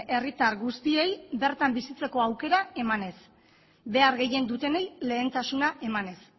herritar guztiei bertan bizitzeko aukera emanez behar gehien dutenei lehentasuna emanez